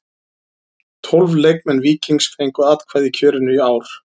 Tólf leikmenn Víkings fengu atkvæði í kjörinu í ár.